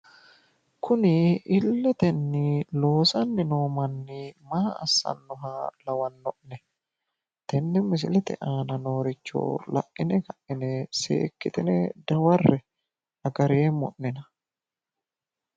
Kuni illetenni loosanni no manni maa assanni nooha lawanno'ne? Tenne misilelete aana nooricho la'ine dawarre"e agareemmo'nena